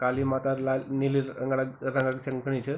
काली माता लाल नीली रंगक चमकणी च ।